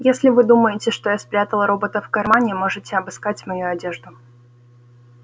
если вы думаете что я спрятал робота в кармане можете обыскать мою одежду